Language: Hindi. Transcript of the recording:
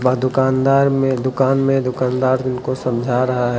दुकानदार में दुकान में दुकानदार उनको समझा रहा है।